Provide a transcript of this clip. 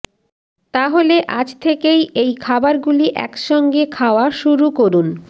তাহলে আজ থেকেই এই খাবারগুলি একসঙ্গে খাওয়া শুরু করুন